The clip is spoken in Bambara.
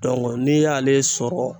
n'i y'ale sɔrɔ